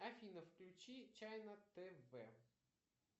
афина включи чайна тв